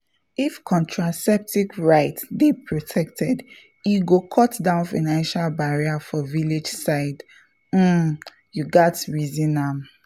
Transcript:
if contraceptive rights dey protected e go cut down financial barrier for village side — um you gatz reason am!